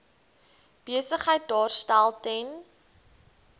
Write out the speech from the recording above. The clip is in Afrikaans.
besigheid daarstel ten